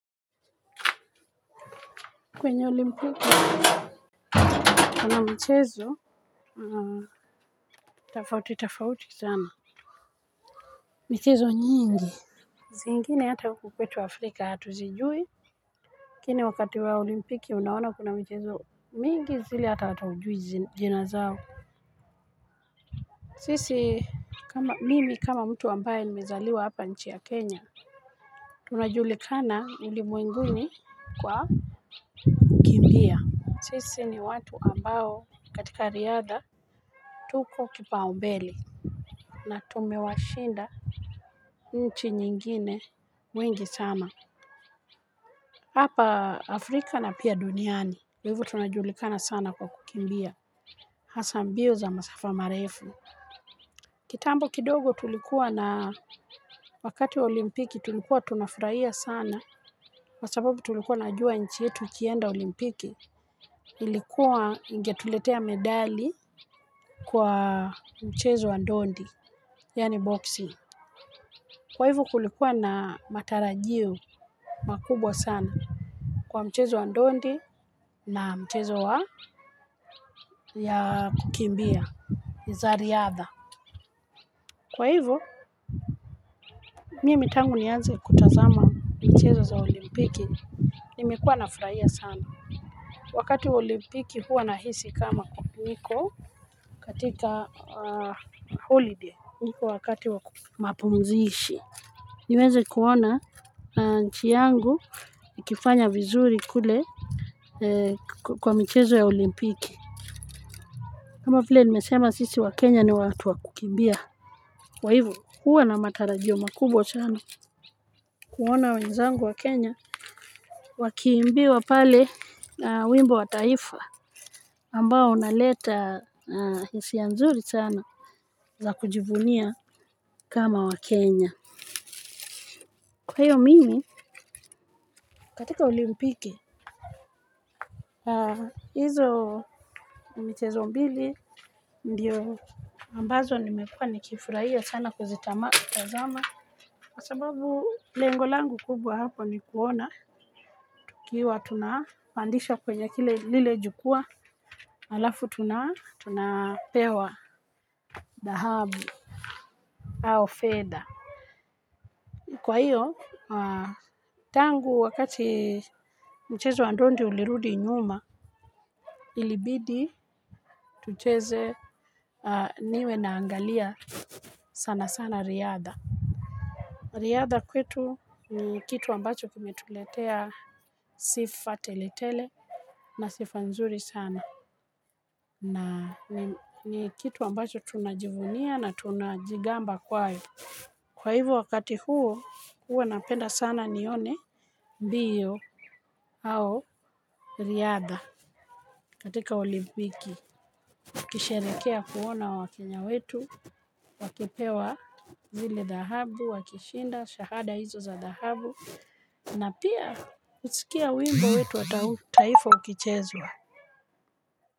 Kwenye olimpiki kuna mchezo tofauti tofauti sana mchezo nyingi zingine hata huku kwetu afrika hatuzijui lakini wakati wa olimpiki unaona kuna mchezo mingi zile hata haujui jina zao sisi kama mimi kama mtu ambaye nimezaliwa hapa nchi ya kenya tunajulikana ulimwenguni kuwa sisi ni watu ambao katika riadha tuko kipaumbele na tumewashinda. Nchi nyingine wengi sana. Hapa Afrika na pia duniani kwa hivo tunajulikana sana kwa kukimbia. Hasa mbio za masafa marefu. Kitambo kidogo tulikuwa na wakati olimpiki tulikuwa tunafurahia sana kwa sababu tulikuwa najua nchi yetu ikienda olimpiki ilikuwa ingetuletea medali. Kwa mchezo wa dondi. Yani boxing. Kwa hivo kulikuwa na matarajio makubwa sana kwa mchezo wa ndondi na mchezo wa ya kukimbia. Ni za riadha. Kwa hivo mimi tangu nianze kutazama michezo za olimpiki. Nimekuwa nafurahia sana. Wakati olimpiki huwa nahisi kama niko katika holiday niko wakati wa mapumzishi niweze kuona nchi yangu ikifanya vizuri kule. Eee kwa michezo ya olimpiki kama vile nimesema sisi wakenya ni watu wa kukimbia kwa hivo huwa na matarajio makubwa sana kuona wenzangu wa kenya wakiimbiwa pale wimbo wa taifa ambao unaleta hisia nzuri sana za kujivunia kama wakenya. Kwa hiyo mimi katika olimpiki hizo michezo mbili ndiyo ambazo nimekuwa nikifurahia sana kuzitama ma kwa sababu lengo langu kubwa hapo ni kuona tukiwa tunapandishwa kwenye kile lile jukwaa alafu tunapewa dhahabu au fedha. Kwa hiyo tangu wakati mchezo wa ndondi ulirudi nyuma. Ilibidi tucheze niwe naangalia sana sana riadha. Riadha kwetu ni kitu ambacho kimetuletea sifa teletele na sifa nzuri sana na ni kitu ambacho tunajivunia na tunajigamba kwayo. Kwa hiou wakati huo huwa napenda sana nione mbio au riadha katika olimbiki kisherekea kuona wakenya wetu wakipewa zile dhahabu, wakishinda, shahada hizo za dahabu na pia usikia wimbo wetu wa taifa ukichezwa.